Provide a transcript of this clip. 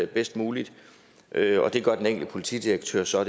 bedst muligt og det gør den enkelte politidirektør så